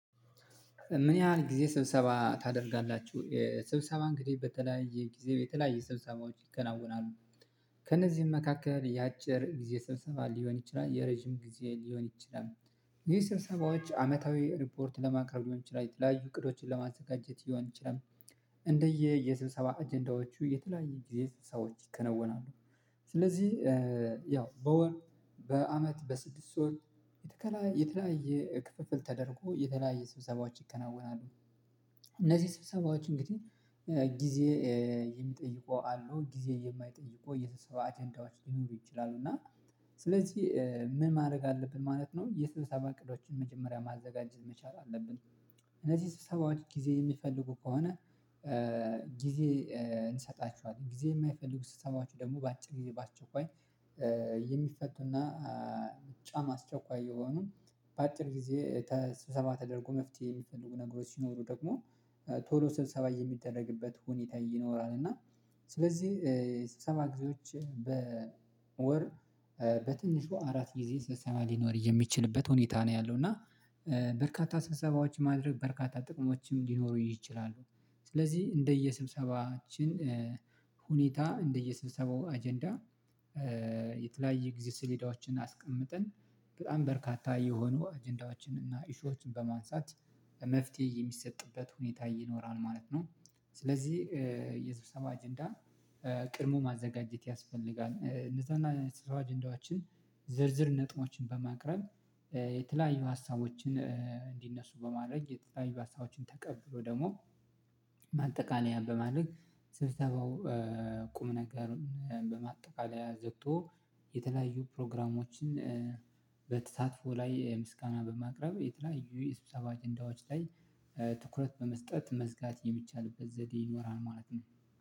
ምን ያህል ጊዜ ስብሰባ ታደርጋላችሁ? ስብሰባ እንግዲህ በተለያየ ጊዜ በተለያየ ስብሰባዎች ይከናወናሉ ከእነዚህም መካከል የአጭር ጊዜ ስብሰባ ሊሆን ይችላል የረጅም ጊዜ ሊሆን ይችላል የሰብሰባዎች አመታዊ ሪፖርት ለማቅረብ ሊሆን ይችላል የተለያዩ እቅዶችን ለማዘጋጀት ይሆን ይችላል እንደየ የስብሰባ አጀንዳዎቹ የተለያየ ጊዜ ሰዎች ይከናወናሉ ስለዚህ ያው በወር በአመት በስድስት ወር የተለያየ የተለያየ ክፍፍል ተደርጎ የተለያየ ስብሰባዎች ይከናወናሉ እነዚህ ስብሰባዎች እንግዲህ ጊዜ የሚጠይቁ አሉ ጊዜ የተሰበው አጀንዳዎች ሊኖሩ ይችላሉ እና ስለዚህ ምን ማድረግ አለብን ማለት ነው የስድስተኛ እቅዶችን መጀመሪያ ማዘጋጀት መቻል አለብን እነዚህ ሰበሰባዎች ጊዜ የሚፈልጉ ከሆነ ጊዜ እንሰጣችኋለን ጊዜ የማይፈልጉ ስብሰባዎች ደግሞ በአጭር ጊዜ በአጭር ቆይ የሚፈቱና በጣም አስቸኳይ የሆኑ በአጭር ጊዜ ስብሰባ ተደርጎ መፍትሄ የሚፈልጉ ነገሮች ሲኖሩ ደግሞ ቶሎ ስብሰባ የሚደረግበት ሁኒታ ይኖራል እና ስለዚህ ስብሰባ ጊዜዎች በወር በትንሹ አራት ጊዜ ስብሰባ ሊኖር የሚችልበት ሁኔታ ነው ያለው እና በርካታ ስብሰባዎች ማድረግ በርካታ ጥቅሞችም ሊኖሩ ይችላሉ ስለዚህ እንደየስብሰባችን ሁኔታ እንደየስብሰባው አጀንዳ የተለያየ ጊዜ ስሌዳዎችን አስቀምጠን በጣም በርካታ የሆኑ አጀንዳዎችን እና ኢሹዎችን በማንሳት መፍትሄ የሚሰጥበት ሁኔታ ይኖራል ማለት ነው ስለዚህ የስብሰባ አጀንዳን ቀድሞ ማዘጋጀት ያስፈልጋል ንስሐና ስፋችን አጀንዳዎችን ዝርዝር ነጥቦችን በማቅረብ የተለያዩ ሀሳቦችን እንዲነሱ በማድረግ የተለያዩ ሀሳቦችን ተቀብሎ ደግሞ ማጠቃለያ በማድረግ ስብሰባው ቁም ነገርን በማጠቃለያ ዘግቶ የተለያዩ ፕሮግራሞችን በተሳትፎ ላይ ምስጋና በማቅረብ የተለያዩ የስብሰባ አጀንዳዎች ላይ ትኩረት በመስጠት መዝጋት የሚቻልበት ዘዴ ይኖራል ማለት ነው